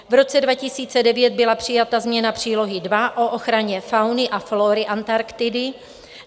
V roce 2009 byla přijata změna přílohy II o ochraně fauny a flóry Antarktidy.